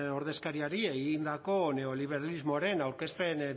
ordezkariari egindako neoliberalismoaren aurkezpen